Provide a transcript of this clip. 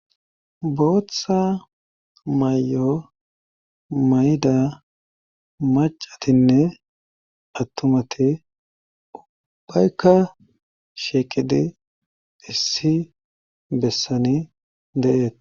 booththa may7o mayda macatinne attumati ubbaykka sheeqidi issi bessani de7eet